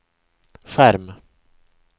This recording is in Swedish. skärm